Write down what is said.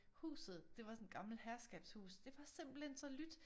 Huset det var sådan et gammelt herskabshus det var simpelthen så lydt